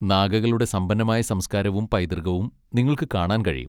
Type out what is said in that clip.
നാഗകളുടെ സമ്പന്നമായ സംസ്കാരവും പൈതൃകവും നിങ്ങൾക്ക് കാണാൻ കഴിയും.